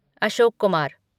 Ashok Kumar